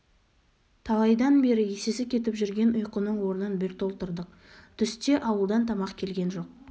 талайдан бергі есесі кетіп жүрген ұйқының орнын бір толтырдық түсте ауылдан тамақ келген жоқ